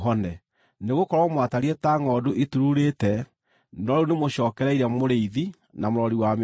Nĩgũkorwo mwatariĩ ta ngʼondu itururĩte, no rĩu nĩmũcookereire Mũrĩithi na Mũrori wa mĩoyo yanyu.